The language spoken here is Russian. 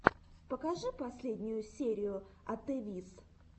покажи последнюю серию атевис